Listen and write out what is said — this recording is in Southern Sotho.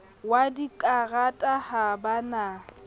wa dikarata ha ba na